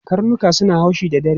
Karnuka suna haushi da dare.